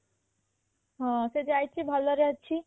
ହଁ ସେ ଯାଇଛି ଭଲରେ ଅଛି